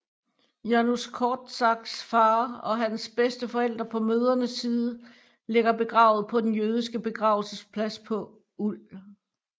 Janusz Korczaks far og hans bedsteforældre på mødrene side ligger begravet på den jødiske begravelsesplads på ul